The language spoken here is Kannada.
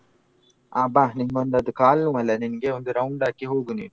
ಆ ಬಾ ನಿಂಗೊಂದ್ ಅದ್ ಕಾಲ್ನೋವಲ್ಲ ನಿನ್ಗೆ ಒಂದ್ round ಹಾಕಿ ಹೋಗು ನೀನು.